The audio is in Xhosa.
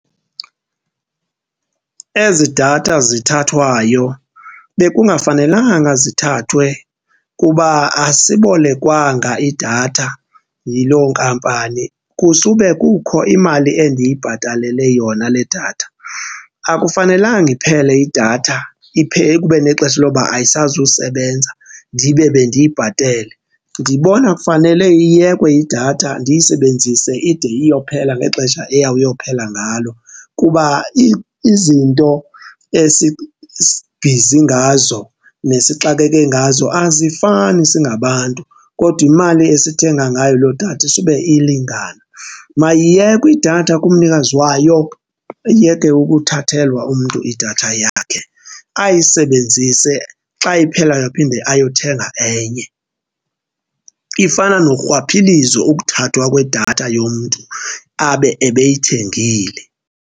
Ezi datha zithathwayo bekungafanelanga zithathwe kuba asibolekwanga idatha yiloo nkampani, kusube kukho imali endiyibhatalele yona le datha. Akufanelanga iphele idatha iphele kube nexesha loba ayisazusebenza ndibe bendiyibhatele. Ndibona kufanele iyekwe idatha ndiyisebenzise ide iyophela ngexesha iyawuyophela ngalo kuba izinto esibhizi ngazo nesixakeke ngazo azifani singabantu kodwa imali esithenga ngayo loo datha isube ilingana. Mayiyekwe idatha kumnikazi wayo, ayeke ukuthathelwa umntu idatha yakhe ayisebenzise, xa iphela aphinde ayothenga enye. Ifana norhwaphilizo ukuthathwa kwedatha yomntu abe ebeyithengile.